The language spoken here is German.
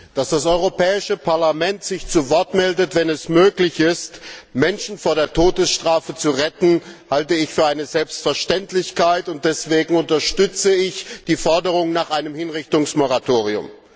Dass das Europäische Parlament sich zu Wort meldet, wenn es möglich ist, Menschen vor der Todesstrafe zu retten, halte ich für eine Selbstverständlichkeit, und deswegen unterstütze ich die Forderung nach einem Hinrichtungsmoratorium.